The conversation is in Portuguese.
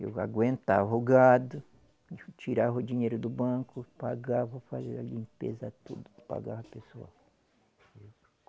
Eu aguentava o gado, tirava o dinheiro do banco, pagava, fazia a limpeza tudo, pagava pessoal.